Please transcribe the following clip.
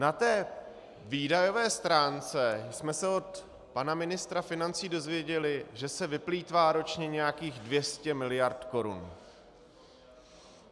Na té výdajové stránce jsme se od pana ministra financí dozvěděli, že se vyplýtvá ročně nějakých 200 mld. korun.